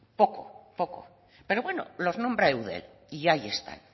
poco poco pero bueno los nombra eudel y ahí están